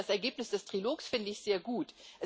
Das Ergebnis des Trilogs finde ich sehr gut.